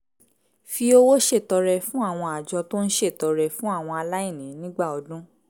fi owó ṣètọrẹ fún àwọn àjọ tó ń ṣètọrẹ fún àwọn aláìní nígbà ọdún